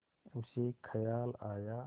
उसे ख़याल आया